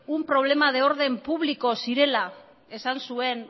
un problema de orden público zirela esan zuen